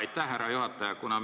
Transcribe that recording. Aitäh, härra juhataja!